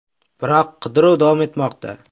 Biroq qidiruv davom etmoqda.